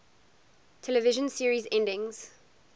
television series endings